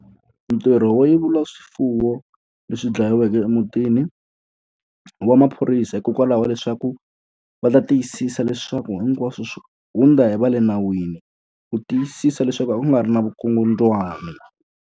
Ntirho wo yevula swifuwo leswi dlayiweke emutini, i wa maphorisa hikokwalaho leswaku va ta tiyisisa leswaku hinkwaswo swi hundza hi va le nawini. Ku tiyisisa leswaku a ku nga ri na vukungundzwani.